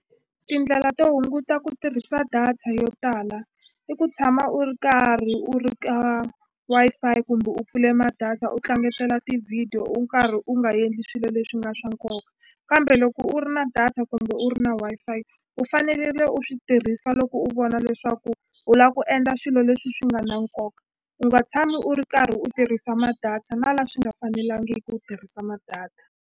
Tindlela to hunguta ku tirhisa data yo tala i ku tshama u ri karhi u ri ka Wi-Fi kumbe u pfule ma-data u tlangetela ti-video u karhi u nga endli swilo leswi nga swa nkoka kambe loko u ri na data kumbe u ri na Wi-Fi u fanele le u swi tirhisa loko u vona leswaku u la ku endla swilo leswi swi nga na nkoka u nga tshami u ri karhi u tirhisa ma-data na la swi nga fanelangiku u tirhisa ma-data.